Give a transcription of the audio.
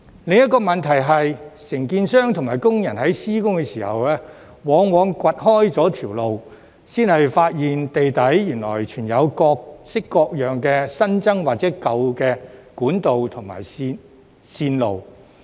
另一個問題是，承建商和工人在施工時，往往掘開路面才發現地底原來藏有各類新增或舊有管道和線路。